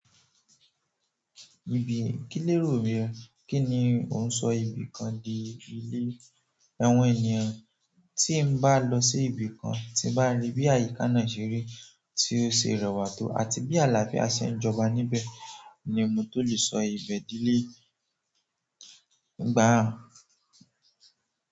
Ibi kí lérò bí ẹ? Kí ni ò ń sọ ibìkan di ilé? Àwọn ènìyàn tí ń bá lọ sí ibìkan tí bá rí bí àyíká náà ṣe rí, tí ó ṣe rẹwà tó àti bí àlàáfíà ṣe ń jọba níbẹ̀ ni mo tó lè sọ ibẹ̀ dilé. Ìgbà.